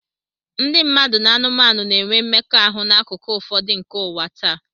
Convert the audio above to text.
Ndị mmadụ na anụmanụ na-enwe mmekọahụ n'akụkụ ụfọdụ nke ụwa taa.